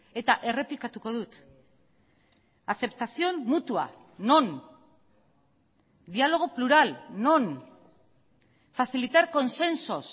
eta errepikatuko dut aceptación mutua non diálogo plural non facilitar consensos